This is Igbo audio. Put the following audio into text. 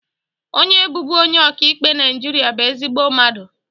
Onye bụbu onye ọka ikpe Naịjirịa bụ ezigbo mmadụ